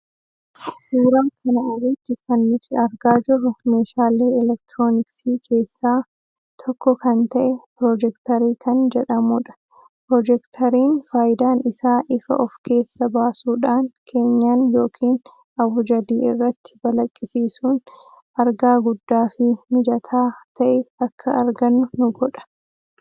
Suuraa kana irratti kan nuti argaa jirru meeshaalee elektirooniksii keessaa tokko kan ta'e Piroojektarii kan jedhamuu dha. Piroojektariin faayidaan isaa ifa of keessaa baasuudhaan keenyan yookiin abujadii irratti balaqqisiisuun argaa guddaa fi mijaataa ta'e akka argannu nu godha.